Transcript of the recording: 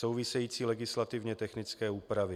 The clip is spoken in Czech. Související legislativně technické úpravy.